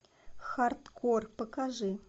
хардкор покажи